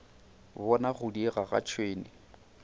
bona go diega ga tšhwene